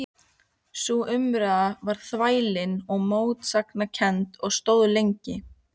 Sú umræða varð þvælin og mótsagnakennd og stóð lengi.